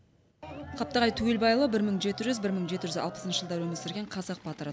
қаптағай түгелбайұлы бір мың жеті жүз бір мың жеті жүз алпысыншы жылдары өмір сүрген қазақ батыры